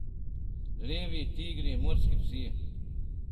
Levi, tigri, morski psi...